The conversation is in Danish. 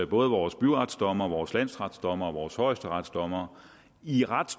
både vores byretsdommere vores landsretsdommere og vores højesteretsdommere i ret